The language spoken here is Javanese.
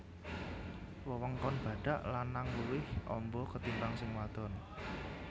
Wewengkon badhak lanang luwih amba ketimbang sing wadon